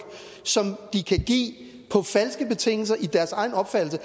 som de kan give på falske betingelser i deres egen opfattelse